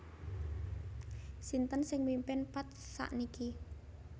Sinten sing mimpin Path sakniki